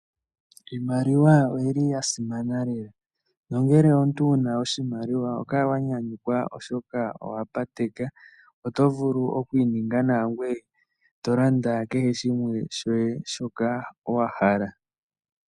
Iimaliwa oyili ya simana lela nongele omuntu owuna oshimaliwa oho kala lela wa nyanyukwa, oshoka owa pateka. Oto vulu okwi ninga nawa, ngoye to landa kehe shimwe shoye shoka wahala.